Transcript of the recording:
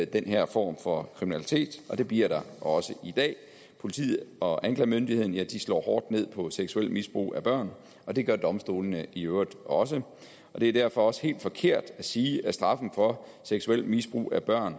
den her form for kriminalitet det bliver der også i dag politiet og anklagemyndigheden slår hårdt ned på seksuelt misbrug af børn det gør domstolene i øvrigt også det er derfor også helt forkert at sige at straffene for seksuelt misbrug af børn